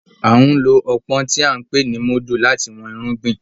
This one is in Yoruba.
A n ló ọpọn tí a n pè ni mudu láti wón irúgbìn